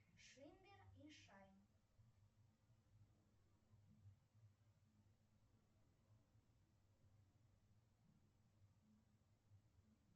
шиммер и шайн